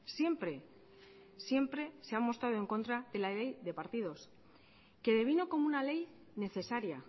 siempre siempre se ha mostrado en contra de la ley de partidos que devino como una ley necesaria